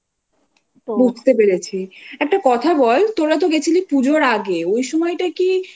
বুঝতে পেরেছি। একটা কথা বল তোরা তো গেছিলি পুজোর আগে ওই সময়টা কি